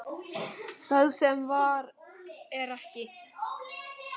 Það sem var er ekki.